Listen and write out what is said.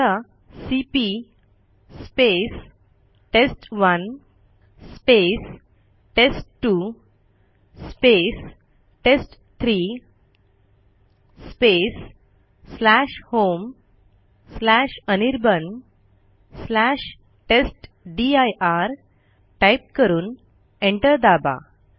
आता CP test one test two test three homeanirbantestdir type करून enter दाबा